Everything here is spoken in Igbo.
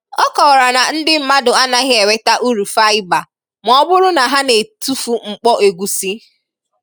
ọ kọwara na ndị mmadụ anaghị enweta ụrụ faịba ma ọ bụrụ na ha na-etufu mkpo egusi.